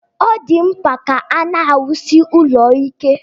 Ọ dị mkpa ka a na-awusie ụlọ ike